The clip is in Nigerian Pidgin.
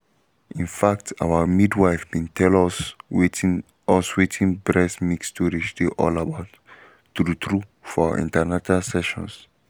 in fact our midwife been tell us wetin us wetin breast milk storage dey all about true-true for our an ten atal sessions